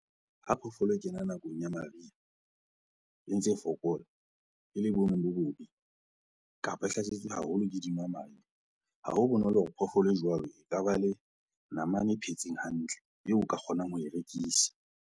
Ha phoofolo e kena nakong ya mariha e ntse e fokola, e le boemong bo bobe, kapa e hlasetswe haholo ke dinwamadi, ha ho bonolo hore phoofolo e jwalo e ka ba le namane e phetseng hantle eo o ka kgonang ho e rekisa.